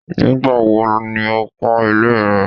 Nígbà wo ni ó kọ́ ilé ẹ.?